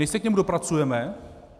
My se k němu dopracujeme.